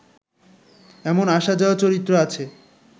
এমন আসা-যাওয়া চরিত্র আছে